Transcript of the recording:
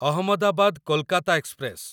Ahmedabad Kolkata express